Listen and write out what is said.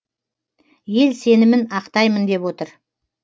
ел сенімін ақтаймын деп отыр